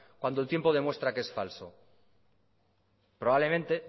cuando el tiempo demuestra que es falso probablemente